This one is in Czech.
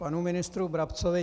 Panu ministru Brabcovi.